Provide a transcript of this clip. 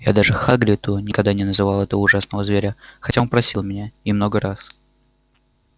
я даже хагриду никогда не называл этого ужасного зверя хотя он просил меня и много раз